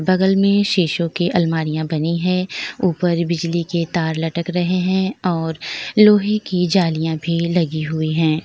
बगल में सिसो की अलमारियां बनी है ऊपर बिजली के तार लटक रहे हैं और लोहे की जालियां भी लगी हुई है।